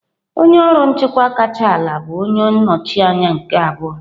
Onye ọrụ nchịkwa kacha ala bụ onye nnọchi anya nke abụọ.